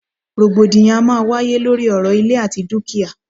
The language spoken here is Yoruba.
Rògbòdìyàn a máà ń wáyé lóri ọ̀rọ̀ ìlẹ̀ àti dúkìá.